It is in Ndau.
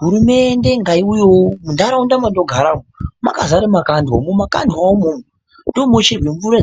Hurumende ngaiuyeyo munharaunda mwandinogara umwo mwakazare makandwa ,mumakandwawo umwomwo ndomunocherwe mvura